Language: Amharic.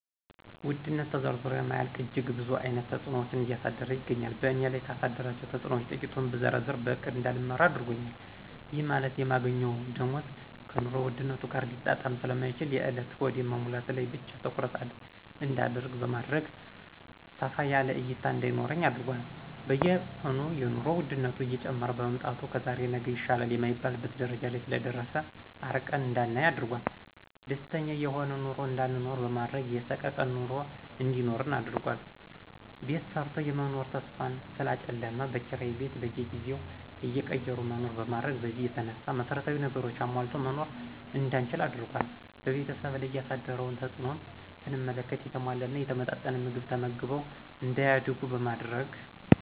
ውድነት ተዘርዝሮ የማያልቅ እጅግ ብዙ አይነት ተጽኖዎችን እያደረሰ ይገኛል በእኔ ላይ ካደረሳቸው ተጽኖዎች ትቂቱን ብዘረዝር በእቅድ እዳልመራ አድርጎኛል ይህ ማለት የማገኘው ደሞዝ ከኑሮ ውድነት ጋር ሊጣጣም ስለማይችል የእለት ሆድን መሙላት ላይ ብቻ ትኩረት እዳደርግ በማድረግ ሰፋ ያለ እይታ እዳይኖረኝ አድርጓል። በየቀኑ የኑሮ ወድነት እየጨመረ በመምጣቱ ከዛሬ ነገ ይሻላል የማይባልበት ደረጃ ላይ ስለደረሰ አርቀን እዳናይ አድርጓል። ደስተኛ የሆነ ኑሮ እዳይኖረን በማድረግ የሰቀቀን ኑሮ እንዲኖረን አድርጓል። ቤት ሰርቶ የመኖር ተስፋን ስላጨለመ በኪራይ ቤት በየጊዜው እየቀየሩ እንዲኖር በማድረግ በዚህ የተነሳ መሰረታዊ ነገሮችን አሟልቶ መኖር እዳንችል አድርጓል። በቤተሰብ ላይ ያሳደረውን ተጽእኖም ስንመለከት የተሟላና የተመጣጠነ ምግብ ተመግበው እዳያድጉ በማድረግ